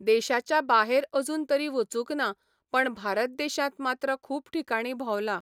देशाच्या बाहेर अजून तरी वचूंक ना पण भारत देशांत मात्र खूब ठिकाणी भोंवलां.